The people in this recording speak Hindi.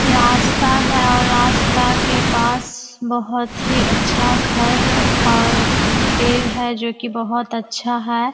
रास्ता है और रास्ता के पास बहुत ही अच्छा घर और पेड़ है जो की बहुत अच्छा है।